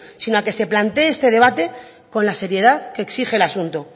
sino a que se plantee este debate con la seriedad que exige el asunto